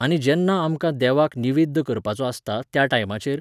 आनी जेन्ना आमकां देवाक निवेद्द करपाचो आसता त्या टायमाचेर